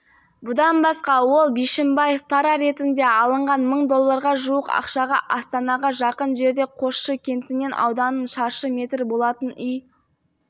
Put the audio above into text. бұдан басқа ол бишімбаев пара ретінде алынған мың долларға жуық ақшаға астанаға жақын жердегі қосшы кентінен ауданы шаршы метр болатын үй